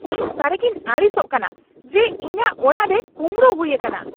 ᱤᱧ ᱥᱟᱹᱨᱤᱜᱤᱧ ᱟᱹᱰᱤᱥᱚᱜ ᱠᱟᱱᱟ ᱡᱮ ᱤᱧᱟᱹᱜ ᱚᱲᱟᱜ ᱨᱮ ᱠᱩᱸᱵᱲᱩ ᱦᱩᱭ ᱟᱠᱟᱱᱟ ᱾ (ᱦᱚᱲ)